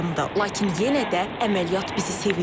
Lakin yenə də əməliyyat bizi sevindirdi.